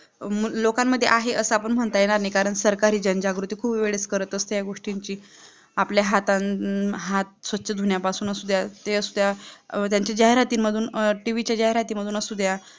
मग लोकांमध्ये अस म्हणता येणार नाही कारण सरकारी जनजागृती खूप वेळेस करत असते या गोष्टींची आपले हात स्वच्छ थुंया पासुन असूघ्या ते असुद्या ज्यांच्या जाहिराती मधून TV च्या जाहिराती मधून असुद्या